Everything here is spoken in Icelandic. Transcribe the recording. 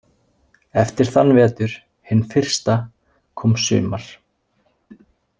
Eftir þann vetur hinn fyrsta kom sumar.